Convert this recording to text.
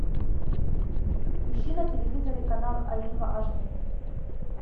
ищи на телевизоре канал аива аш ди